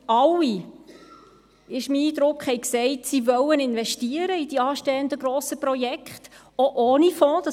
Alle – so mein Eindruck – sagten, sie wollten in die anstehenden grossen Projekte investieren, auch ohne Fonds;